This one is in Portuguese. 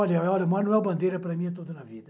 Olha, Manuel Bandeira para mim é tudo na vida.